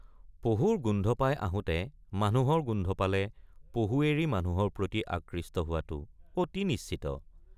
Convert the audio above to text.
পহুৰ গোন্ধ পাই আহোতে মানুহৰ গোন্ধ পালে পহু এৰি মানুহৰ প্ৰতি আকৃষ্ট হোৱাটো অতি নিশ্চিত।